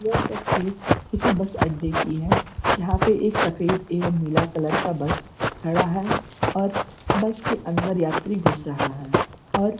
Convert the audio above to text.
यह तस्वीर किसी बस अड्डे की है। यहाँ पे एक सफ़ेद एवम नीला कलर का बस खड़ा है और बस के अन्दर यात्री घुस रहा है और --